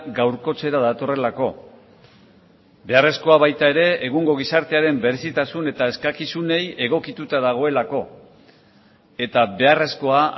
gaurkotzera datorrelako beharrezkoa baita ere egungo gizartearen berezitasun eta eskakizunei egokituta dagoelako eta beharrezkoa